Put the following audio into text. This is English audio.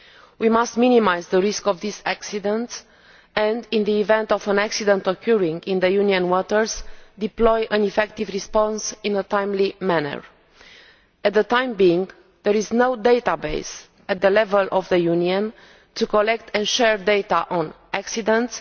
We must minimise the risk of these accidents and, in the event of an accident occurring in Union waters, deploy an effective response in a timely manner. For the time being, there is no database at Union level to collect and share data on accidents